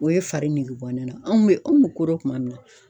O ye fari nege bɔ ne na anw bɛ, anw ko dɔ kuma min na.